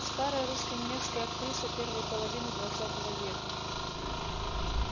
старая русско-немецкая актриса первой половины двадцатого века